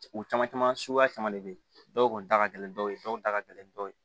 U caman caman suguya caman de be yen dɔw kun da ka gɛlɛn dɔw ye dɔw da ka gɛlɛn ni dɔw ye